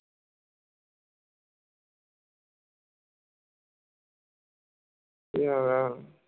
পেয়ারা